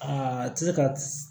Aa ti se ka